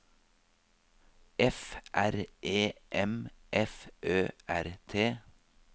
F R E M F Ø R T